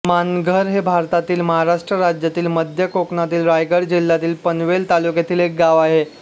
मानघर हे भारतातील महाराष्ट्र राज्यातील मध्य कोकणातील रायगड जिल्ह्यातील पनवेल तालुक्यातील एक गाव आहे